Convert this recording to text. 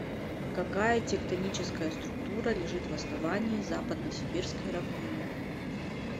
какая тектоническая структура лежит в основании западно сибирской равнины